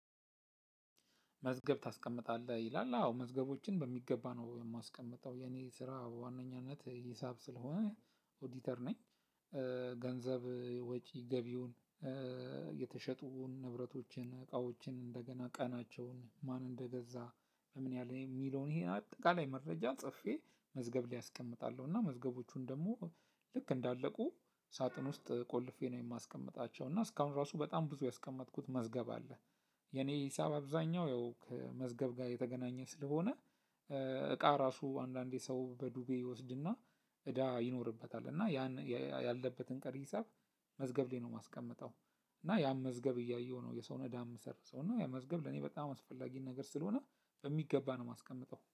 መዝገብ ታስቀምጣለህ ይላል አዎ መዝገቦችን በሚገባ ነው የማስቀምጠው የኔ ስራ በዋነኛነት ሂሳብ ስለሆነ ኦዲተር ነኝ። ገንዘብ ወጪ ገቢውን የተሸጡ ንብረቶችን እቃዎችን እንደገና ቀናቸውን ማን እንደገዛ ለምን ያህል የሚለውን ይሄን አጠቃላይ መረጃ ጽፌ መዝገብ ላይ አስቀምጣለው። እና መዝገቦቹን ደግሞ ልክ እንዳለቁ ሳጥን ውስጥ ቆልፌ ነው የማስቀምጣቸው እና እስካሁን ራሱ በጣም ብዙ ያስቀመጥኩት መዝገብ አለ። የኔ ሂሳብ አብዛኛው ያው ከመዝገብ ጋር የተገናኘ ስለሆነ። እቃ ራሱ አንዳንዴ ሰው በዱቤ ይወስድና እዳ ይኖርበታል እና ያን ያለበትን ቀሪ ሂሳብ መዝገብ ላይ ነው የማስቀምጠው። እና ያን መዝገብ እያየሁ ነው የሰው እዳ የምሰርዘው እና ያ መዝገብ ለኔ በጣም አስፈላጊ ነገር ስለሆነ በሚገባ ነው የማስቀምጠው